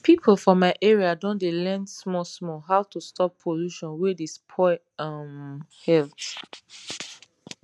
people for my area don dey learn small small how to stop pollution wey dey spoil um health